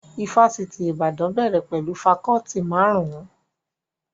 Ifásitì Ìbàdàn bẹ̀rẹ̀ pẹ̀lú fakọọti marun-un